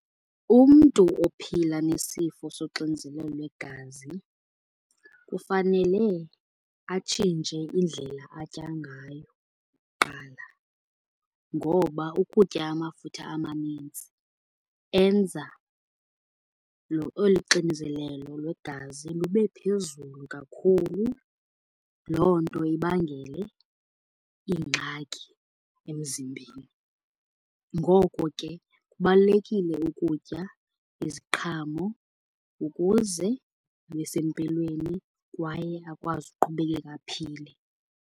Umntu ophila nesifo soxinzelelo lwegazi kufanele atshintshe indlela atya ngayo kuqala. Ngoba ukutya amafutha amaninzi enza olu xinzelelo lwegazi lube phezulu kakhulu, loo nto ibangele iingxaki emzimbeni. Ngoko ke kubalulekile ukutya iziqhamo ukuze abe sempilweni, kwaye akwazi ukuqhubeleka aphile.